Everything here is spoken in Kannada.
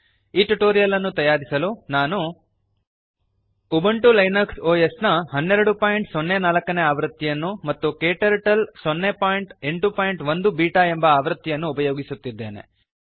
ಈ ಟ್ಯುಟೋರಿಯಲ್ ಅನ್ನು ತಯಾರಿಸಲು ನಾನು ಉಬುಂಟು ಲಿನಕ್ಸ್ ಒಎಸ್ ನ 1204 ನೇ ಆವೃತ್ತಿಯನ್ನು ಮತ್ತು ಕ್ಟರ್ಟಲ್ 081 ಬೀಟಾ ಎಂಬ ಆವೃತ್ತಿಯನ್ನು ಉಪಯೋಗಿಸುತ್ತಿದ್ದೇನೆ